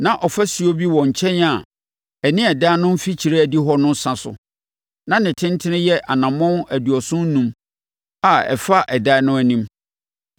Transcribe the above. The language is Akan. Na ɔfasuo bi wɔ nkyɛn a ɛne adan no ne mfikyire adihɔ no sa so; na ne tentene yɛ anammɔn aduɔson enum a ɛfa adan no anim.